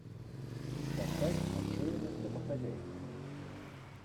поставь отчаянных домохозяек